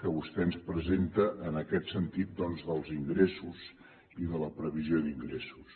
que vostè ens presenta en aquest sentit doncs dels ingressos i de la previsió d’ingressos